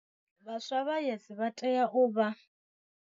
Vhaswa vha YES vha tea u vha.